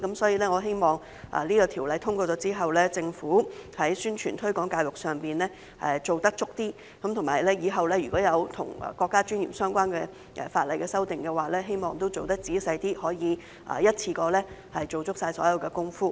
所以，我希望《條例草案》通過後，政府在宣傳和推廣教育上做得充足一點；日後若有與國家尊嚴相關的法例修訂時，我希望也可以做得仔細一點，可以一次過做足所有工夫。